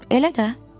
Elə də.